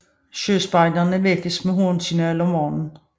Søspejderne vækkes med homsignal om morgenen